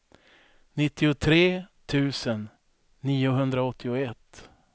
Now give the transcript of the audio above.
nittiotre tusen niohundraåttioett